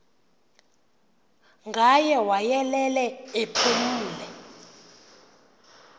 ngaye wayelele ephumle